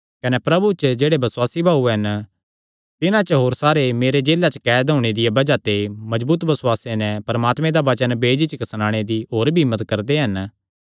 कने प्रभु च जेह्ड़े बसुआसी भाऊ हन तिन्हां च होर सारे मेरे जेला च कैद होणे दिया बज़ाह ते मजबूत बसुआसे नैं परमात्मे दा वचन बेझिझक सणाणे दी होर भी हिम्मत करदे हन